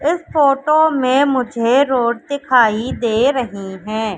इस फोटो में मुझे रोड दिखाई दे रही है।